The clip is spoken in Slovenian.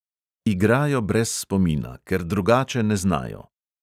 Igrajo brez spomina, ker drugače ne znajo.